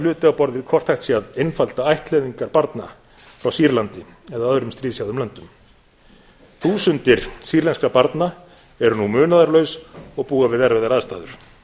á borð við hvort hægt sé að einfalda ættleiðingar barna frá sýrlandi eða öðrum stríðshrjáðum löndum þúsundir sýrlenskra barna eru nú munaðarlaus og búa við erfiðar aðstæður